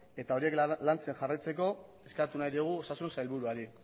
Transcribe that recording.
eta horiek lantzen jarraitzeko eskatu nahi diogu osasun sailburuari